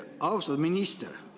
Austatud minister!